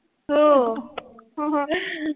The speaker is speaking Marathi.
हो